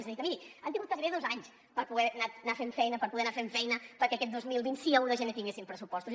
és a dir que miri han tingut gairebé dos anys per poder anar fent feina per poder anar fent feina perquè aquest dos mil vint sí a un de gener tinguéssim pressupostos